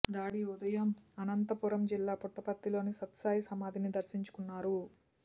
దాడి ఉదయం అనంతపురం జిల్లా పుట్టపర్తిలోని సత్యసాయి సమాధిని దర్శించుకున్నారు